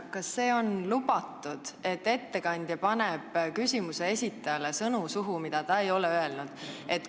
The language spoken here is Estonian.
Kas see on lubatud, et ettekandja paneb küsimuse esitajale suhu sõnu, mida ta ei ole öelnud?